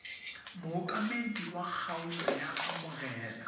mookamedi wa kgaolo a amogela